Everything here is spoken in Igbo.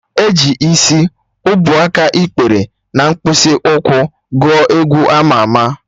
E ji Isi, ubuaka, ikpere na mkpịsị ụkwụ gụọ egwu ama ama